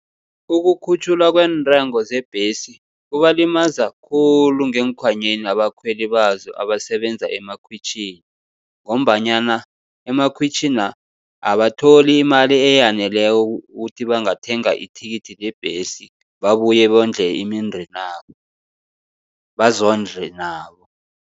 Ukukhutjhulwa kweentengo zebhesi, kubalimaza khulu ngeenkhwanyeni abakhweli bazo abasebenza emakhwitjhini, ngombanyana emakhwitjhini na abatholi imali eyaneleko ukuthi bangathenga ithikithi lebhesi, babuye bondle imindenabo, bazondle nabo.